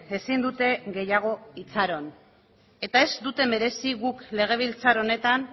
ezin dute gehiago itxaron eta ez dute merezi guk legebiltzar honetan